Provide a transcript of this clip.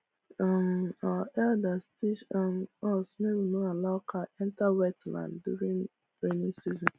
um our elders teach um us make we no allow cow enter wet land during rainy season